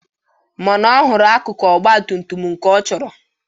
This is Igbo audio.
Mana ọ hụrụ akụkụ ọgbatumtum nke ọ chọrọ.